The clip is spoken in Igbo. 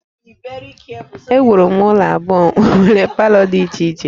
Ewuru m ụlọ abụọ nwere palọ dị iche iche